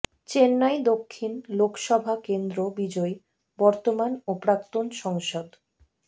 চেন্নাই দক্ষিণ লোকসভা কেন্দ্র বিজয়ী বর্তমান ও প্রাক্তন সংসদ